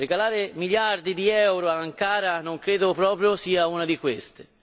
Regalare miliardi di euro ad Ankara non credo proprio sia una di queste.